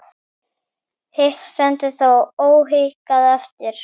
Hitt stendur þó óhikað eftir.